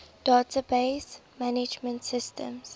database management systems